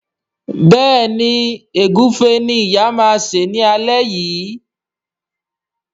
Béèni Egufe ní ìyá ma ṣe ní alé yí.